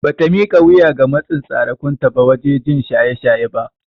Bata mika wuya ga matsin tsarekunta ba waje jin shaye shaye ba.